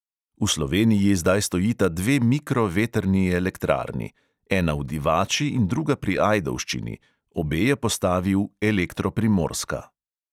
V sloveniji zdaj stojita dve mikro vetrni elektrarni, ena v divači in druga pri ajdovščini, obe je postavil elektro primorska.